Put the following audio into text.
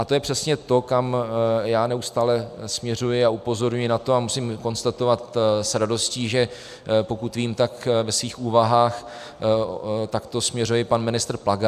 A to je přesně to, kam já neustále směřuji, a upozorňuji na to a musím konstatovat s radostí, že pokud vím, tak ve svých úvahách takto směřuje i pan ministr Plaga.